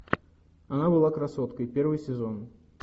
она была красоткой первый сезон